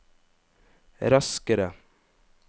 raskere